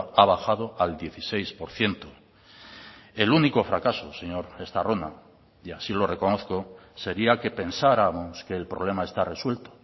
ha bajado al dieciséis por ciento el único fracaso señor estarrona y así lo reconozco sería que pensáramos que el problema está resuelto